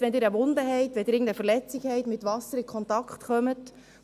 Das heisst: Wenn Sie eine Wunde haben, wenn Sie irgendeine Verletzung haben und mit Wasser, in dem